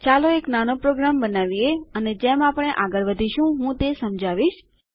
ચાલો એક નાનો પ્રોગ્રામ બનાવીએ અને જેમ આપણે આગળ વધીશું હું તે સમજાવીશ